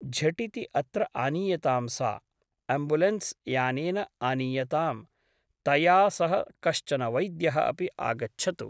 झटिति अत्र आनीयतां सा । अम्बुलेन्स्' यानेन आनीयताम् । तया सह कश्चन वैद्यः अपि आगच्छतु ।